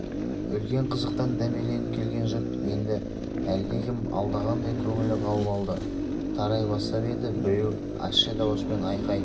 үлкен қызықтан дәмеленіп келген жұрт енді әлдекім алдағандай көңілі қалып алды тарай бастап еді біреу ащы дауыспен айқай